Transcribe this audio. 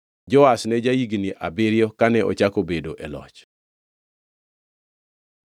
Joash ne ja-higni abiriyo kane ochako bedo e loch.